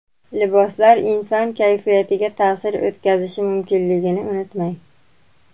Liboslar inson kayfiyatiga ta’sir o‘tkazishi mumkinligini unutmang.